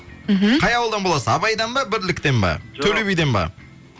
мхм қай ауылдан боласыз абайдан ба бірліктен ба жоқ төле биден ба